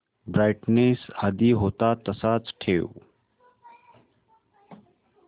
brightness आधी होता तसाच ठेव